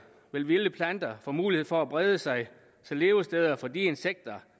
vil vilde planter få mulighed for at brede sig så levesteder for de insekter